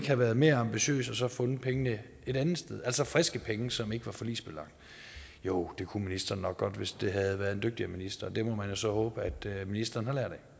have været mere ambitiøs og have fundet pengene et andet sted altså friske penge som ikke er forligsbelagte jo det kunne ministeren nok godt hvis det havde været en dygtigere minister det må man jo så håbe at ministeren